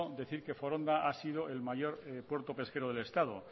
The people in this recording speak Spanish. decir que foronda ha sido el mayor puerto pesquero del estado